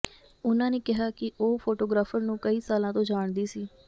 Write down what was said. ਉਨ੍ਹਾਂ ਨੇ ਕਿਹਾ ਕਿ ਉਹ ਫੋਟੋਗ੍ਰਾਫ਼ਰ ਨੂੰ ਕਈਂ ਸਾਲਾਂ ਤੋਂ ਜਾਣਦੀ ਸੀ